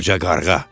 Qoca qarğa.